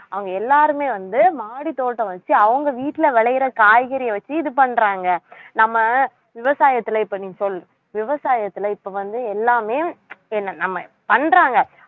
அவங்க எல்லாருமே வந்து மாடித் தோட்டம் வச்சு அவங்க வீட்டுல விளையிற காய்கறியை வச்சு இது பண்றாங்க நம்ம விவசாயத்துல இப்ப நீ சொல்~ விவசாயத்துல இப்ப வந்து எல்லாமே என்ன நம்ம பண்றாங்க